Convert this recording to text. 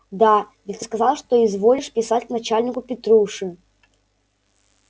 да ведь ты сказал что изволишь писать к начальнику петруши